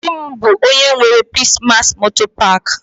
Di m bu onye nwe Peace mass motor park.